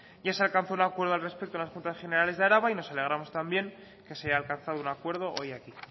ya se alcanzó un acuerdo al respecto en las juntas generales de araba y nos alegramos también que se haya alcanzado un acuerdo hoy aquí